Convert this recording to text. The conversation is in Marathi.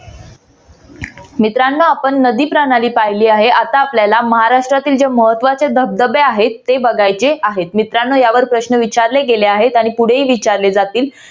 मित्रानो आपणं नदी प्रणाली पाहिली आहे आता आपल्याला महाराष्ट्रातील जे महत्वाचे जे धबधबे आहेत ते बघायचे आहेत. मित्रांनो यावर प्रश्न विचारले गेले आहेत आणि पुढेही विचारले जातील.